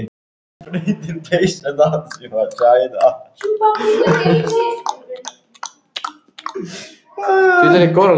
Fyrstu fjárfestarnir eru þá hugsaðir sem efsta lag píramída.